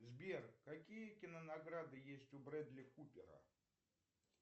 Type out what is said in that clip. сбер какие кинонаграды есть у брэдли купера